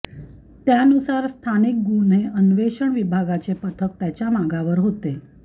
त्यानुसार स्थानिक गुन्हे अन्वेषण विभागाचे पथक त्याच्या मागावर होते